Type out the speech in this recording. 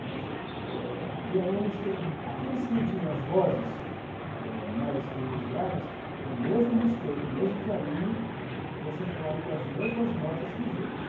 Mas é, tem alunos tem, aqueles que não tinham as vozes é, mais privilegiadas, tem o mesmo respeito, o mesmo carinho, você trabalhando com as mesmas notas que os outros.